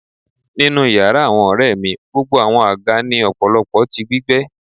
Ninu yara awọn ọrẹ mi gbogbo awọn aga ni ọpọlọpọ ti gbígbẹ